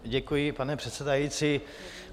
Děkuji, pane předsedající.